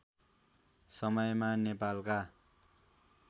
समयमा नेपालका